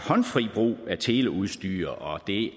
håndfri brug af teleudstyr og det